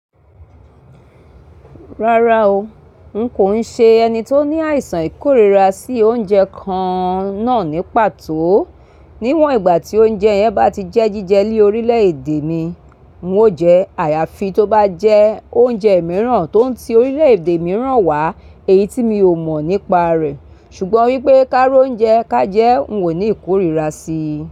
Rárá o, n kò ń ṣe ẹni tó ní àìsàn ìkórìíra sí oúnjẹ kan náà ní pàtó. Níwòn ìgbà tí oúnjẹ yẹn bá ti jẹ́ jíjẹ líi orílẹ̀ èdè mi, n ó jẹ́ àyàfi tó bá jẹ́ oúnjẹ mìíràn tó ń ti orílẹ̀ èdè mìíràn wá èyí tí mi ò mọ̀ nípa rẹ̀. Ṣùgbọ́n wípé káróúnjẹ ká jẹ́ n ò ní ìkórìíra sí.